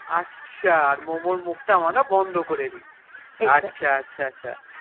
আচ্ছা আর Momo র মুখ তা আমরা বন্ধ করেদি আচ্ছা আচ্ছা আচ্ছা